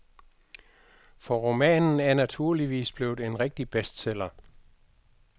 For romanen er naturligvis blevet en rigtig bestseller.